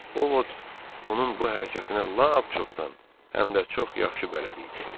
Ovod onun bu hərəkətinə lap çoxdan, həm də çox yaxşı bələd idi.